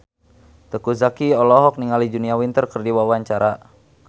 Teuku Zacky olohok ningali Julia Winter keur diwawancara